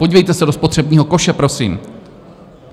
Podívejte se do spotřebního koše, prosím.